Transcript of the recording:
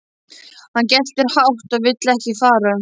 Hann geltir hátt og vill ekki fara.